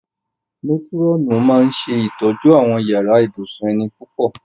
Métírọ̀nù máa ń ṣe ìtọ́jú àwọn yàrá ibùsùn ẹni púpọ̀